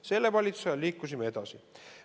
Selle valitsuse ajal liikusime edasi.